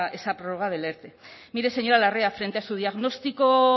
esa prórroga del erte mire señora larrea frente a su diagnóstico